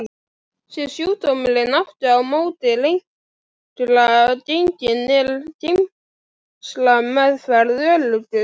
Sé sjúkdómurinn aftur á móti lengra genginn er geislameðferð öruggust.